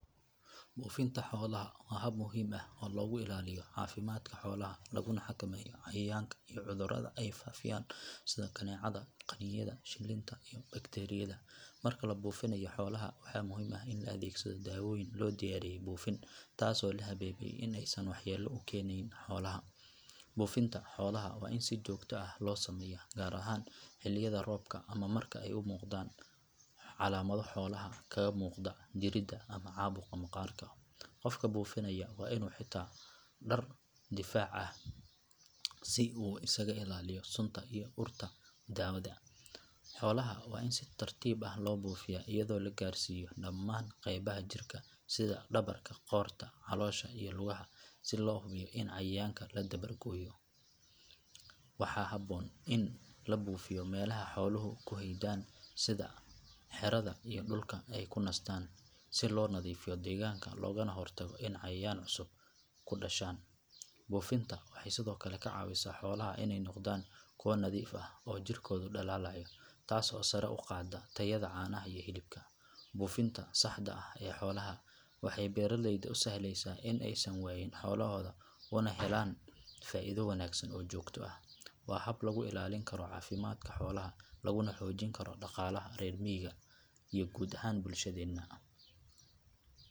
Buufinta xoolaha waa hab muhiim ah oo lagu ilaaliyo caafimaadka xoolaha laguna xakameeyo cayayaanka iyo cudurrada ay faafiyaan sida kaneecada, qaniinyada, shilinta iyo bakteeriyada. Marka la buufinayo xoolaha waxaa muhiim ah in la adeegsado daawooyin loo diyaariyay buufin taas oo la hubiyay in aysan waxyeello u keenayn xoolaha. Buufinta xoolaha waa in si joogto ah loo sameeyaa gaar ahaan xilliyada roobka ama marka ay muuqdaan calaamado xoolaha kaga muuqda jirrada ama caabuqa maqaarka. Qofka buufinaya waa inuu xirtaa dhar difaac ah si uu isaga ilaaliyo sunta iyo urta daawada. Xoolaha waa in si tartiib ah loo buufiyaa iyadoo la gaarsiiyo dhammaan qaybaha jirka sida dhabarka, qoorta, caloosha iyo lugaha si loo hubiyo in cayayaanka la dabar gooyay. Waxaa habboon in la buufiyo meelaha xooluhu ku hoydaan sida xerada iyo dhulka ay ku nastaan si loo nadiifiyo deegaanka loogana hortago in cayayaan cusub ku dhashaan. Buufinta waxay sidoo kale ka caawisaa xoolaha inay noqdaan kuwo nadiif ah oo jirkoodu dhalaalayo taas oo sare u qaadda tayada caanaha iyo hilibka. Buufinta saxda ah ee xoolaha waxay beeraleyda u sahlaysaa in aysan waayin xoolahooda una helaan faa’iido wanaagsan oo joogto ah. Waa hab lagu ilaalin karo caafimaadka xoolaha laguna xoojin karo dhaqaalaha reer miyiga iyo guud ahaan bulshadeenna.